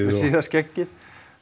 síða skeggið